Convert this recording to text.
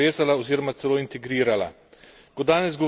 Še bolj nas je povezala, oziroma celo integrirala.